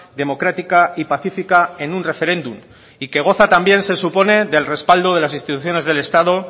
democrática y pacífica en un referéndum y que goza también se supone del respaldo de las instituciones del estado